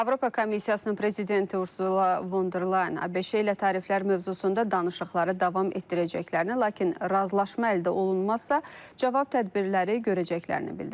Avropa Komissiyasının prezidenti Ursula Von der Leyen ABŞ-yə tariflər mövzusunda danışıqları davam etdirəcəklərini, lakin razılaşma əldə olunmazsa, cavab tədbirləri görəcəklərini bildirib.